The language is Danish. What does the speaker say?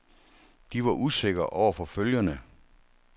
De var usikre over for følgerne.